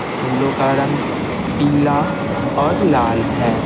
फूलों का रंग पीला और लाल है।